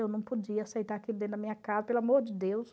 Eu não podia aceitar aquilo dentro da minha casa, pelo amor de Deus.